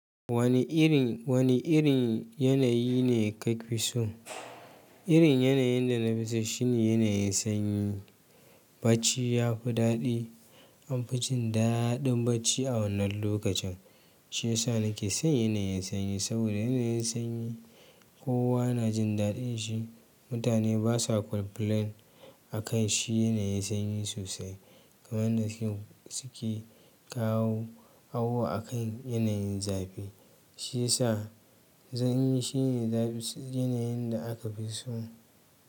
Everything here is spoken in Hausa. Wani irin, wani irin yanayi ne ka fi so? Irin yanayin da na fi so shine yanayin sanyi. Bacci ya fi daɗi. An fi jin daɗin bacci a wannan lokacin, shi ya sa nake son yanayin sanyi. Saboda yanayin sanyi kowa na jin daɗin shi. Mutane basa complain akan shi yanayin sanyi sosai. Kaman yanda suke kawo awo akan yanayin zafi. Shi yasa sanyi shine za. Yanayin da aka fi so.